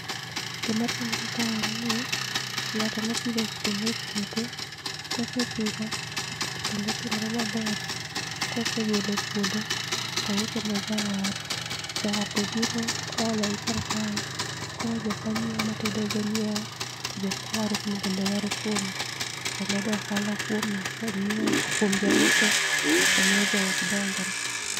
Gi ma timore kae en ni ng'ato apidho kitungu e puothe, ka osepidho kitungu to kitungu otimore ma ber ka osegolo e puodho to ouso ne jawar jawar obiro oolo gi kar kae koro jok ma nyiewo ma tedo go nyiewo to ja ma waro moko bende wauo kuome bedo ohala oja ngiewo obed ja uso to miyo ok dongre